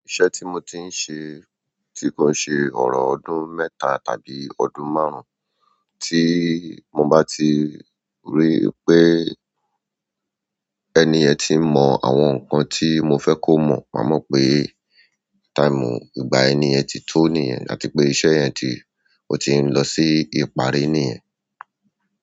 Iṣẹ́ tí mo ti ń ṣe, ti kò ṣe ọ̀rọ̀ ọdún mẹ́ta tàbí ọdún márùn-ún, tí mo bá ti rí pé ẹni ẹ ti mọ̀ àwọn nǹkan tí mo fẹ́ kó mọ̀, màá mọ̀ pé táìmù ìgbà ẹni ẹ ti tó nìyẹn àti pé iṣẹ́ yẹn ti, o ti ń lọ sí ìparí nìyẹn.